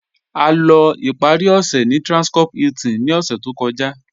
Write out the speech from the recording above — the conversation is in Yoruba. A lọ́ ìparí ọṣẹ̀ ní Transcorp Hilton ní ọ̀ṣẹ̀ tó kọ̀já.